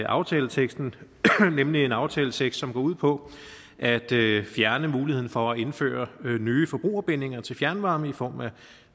aftaleteksten nemlig en aftaletekst som går ud på at fjerne muligheden for at indføre nye forbrugerbindinger til fjernvarme i form af